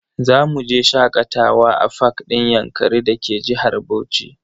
Zamu je shakatawa a fak din yankari da ke jihar Bauchi.